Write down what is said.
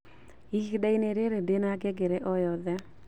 ihinda-inĩ rĩrĩ ndina ngengere o yothe